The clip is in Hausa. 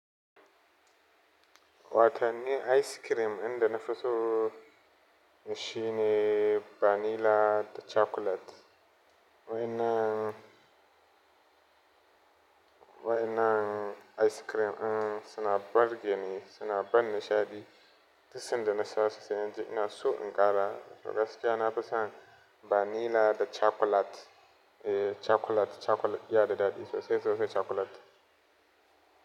Watanin ice cream inda na fi so shi ne vanilla da chocolate. Wa'ennan, wa'enan ice cream in suna burge ni suna ban nishaɗi. Duk sanda na shasu sai injii ina so in ƙara. Gaskiya nafi son vanilla da chocolate, eh chocolate, chocolate yana da daɗi sosai sosai chocolate.